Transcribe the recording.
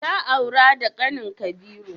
Ta aura da kanin Kabiru?